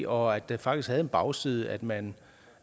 og at det faktisk havde en bagside at man